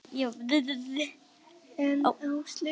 En Áslaug kynnti okkur og ég tók af mér hanskana.